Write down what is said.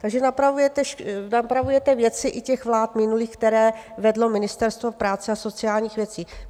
Takže napravujete věci i těch vlád minulých, které vedlo Ministerstvo práce a sociálních věcí.